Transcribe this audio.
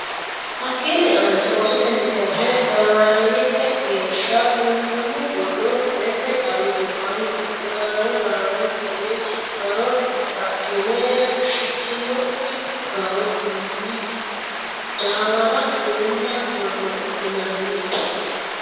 Hakkiinni aanche oosotenni kayse gaamaareeyyete geeshsha qunqumu godo lete xawi gobbaanni fuliro darawo darawontenni garo baxxine fushshitinokki garo fuli dhaawara uulla godo linanni.